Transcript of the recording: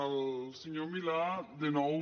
el senyor milà de nou